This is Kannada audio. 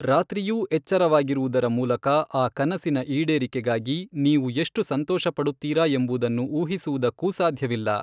ರಾತ್ರಿಯೂ ಎಚ್ಚರವಾಗಿರುವುದರ ಮೂಲಕ ಆ ಕನಸಿನ ಈಡೇರಿಕೆಗಾಗಿ, ನೀವು ಎಷ್ಟು ಸಂತೋಷಪಡುತ್ತೀರಾ ಎಂಬುದನ್ನು ಊಹಿಸುವುದಕ್ಕೂ ಸಾಧ್ಯವಿಲ್ಲ.